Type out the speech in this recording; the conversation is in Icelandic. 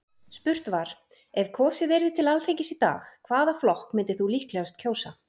Spurt var: Ef kosið yrði til Alþingis í dag, hvaða flokk myndir þú líklegast kjósa?